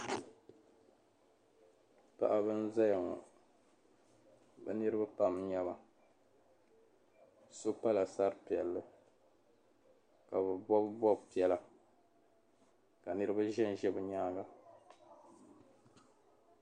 Paɣiba n-zaya ŋɔ bɛ niriba pam n-nyɛ ba so pala sar’piɛlli ka bɛ bɔbi bɔb’piɛla ka niriba ʒemʒe be nyaaŋa.